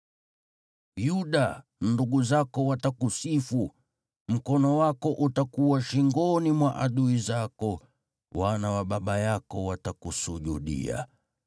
“Yuda, ndugu zako watakusifu; mkono wako utakuwa shingoni mwa adui zako; wana wa baba yako watakusujudia.